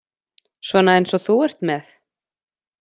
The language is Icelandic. Svona eins og þú ert með?